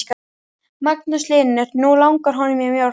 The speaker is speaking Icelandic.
Magnús Hlynur: Nú langar honum í mjólk?